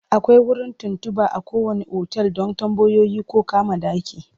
Akwai wurin tuntuɓa a kowanne otal don tambayoyi ko kama ɗaki.